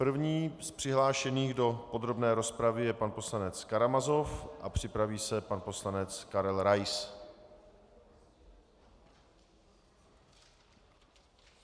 První z přihlášených do podrobné rozpravy je pan poslanec Karamazov a připraví se pan poslanec Karel Rais.